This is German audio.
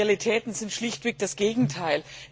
Die Realitäten sind schlichtweg das Gegenteil.